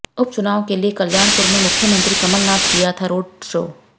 उप चुनाव के लिए कल्याणपुर में मुख्यमंत्री कमलनाथ किया था रोड शो